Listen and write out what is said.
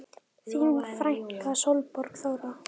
Þín frænka Sólborg Þóra.